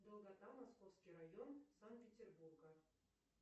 долгота московский район санкт петербурга